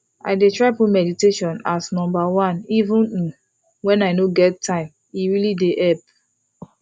i dey try put meditation as number oneeven umwhen i no get time e dey really help